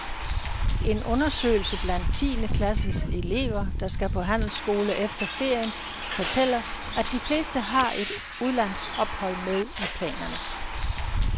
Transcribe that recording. En undersøgelse blandt tiende klasses elever, der skal på handelsskole efter ferien, fortæller, at de fleste har et udlandsophold med i planerne.